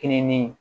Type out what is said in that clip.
Kiliniki